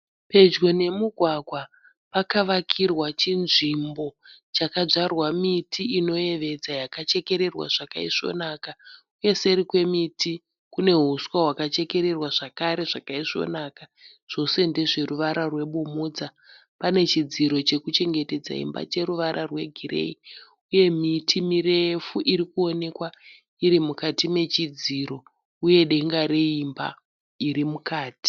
Pedyo nemugwagwa, pakavakirwa chinzvimbo chakanzvarwa miti inoyevedza yakachekererwa zvakaisvonaka. Uye seri kwemiti kune huswa hwakachekererwa zvakare zvakaisvonaka, zvose ndezveruvara rwebumhudza. Pane chidziro chekuchengetedza imba cheruvara rwegireyi. Uye miti mirefu irikuonekwa irimukati nechidziro, uye denga reimba irimukati.